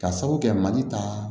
Ka sabu kɛ mali ta